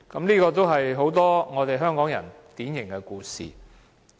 這是很多香港人的典型故事。